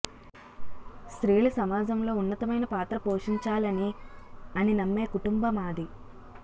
స్త్రీలు సమాజంలో ఉన్నతమైన పాత్ర పోషించాలని అని నమ్మే కుంటుంబ మాది